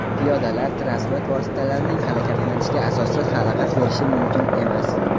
Piyodalar transport vositalarining harakatlanishiga asossiz xalaqit berishi mumkin emas.